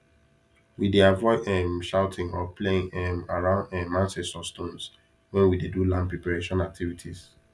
we dey avoid um shouting or playing um around um ancestor stones when we dey do land preparation activities